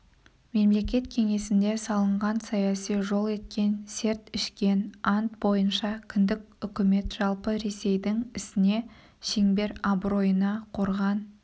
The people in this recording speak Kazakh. мемлекет кеңесінде салынған саяси жол еткен серт ішкен ант бойынша кіндік үкімет жалпы ресейдің ісіне шеңбер абыройына қорған